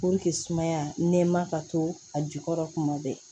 Puruke sumaya nɛma ka to a jukɔrɔ kuma bɛɛ